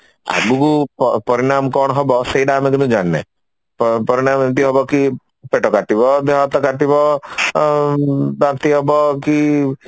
ଆଗକୁ ପରିଣାମ କଣ ହବ ସେଇଟା ଆମେ କେବେ ଜାଣିନେ ପରିଣାମ ଏମିତି ହବ କି ପେଟ କାଟିବ ଦେହ ହାତ କାଟିବ ଆଉ ବାନ୍ତି ହବ କି